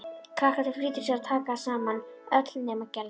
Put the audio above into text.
Krakkarnir flýttu sér að taka saman, öll nema Gerður.